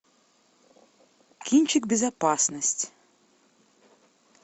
кинчик безопасность